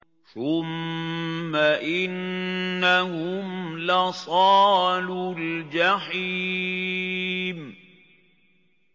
ثُمَّ إِنَّهُمْ لَصَالُو الْجَحِيمِ